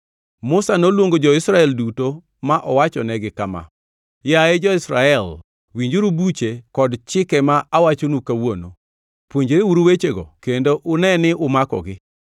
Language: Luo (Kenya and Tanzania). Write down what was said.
Musa noluongo jo-Israel duto ma owachonegi kama: Yaye, jo-Israel winjuru buche kod chike ma awachonu kawuono. Puonjreuru wechego kendo une ni umakogi.